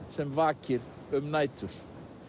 sem vakir um nætur